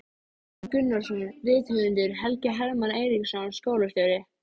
Gunnar Gunnarsson rithöfundur, Helgi Hermann Eiríksson skólastjóri